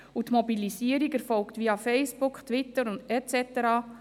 die Mobilisierung erfolgt via Facebook, Twitter et cetera.